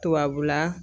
Tubabula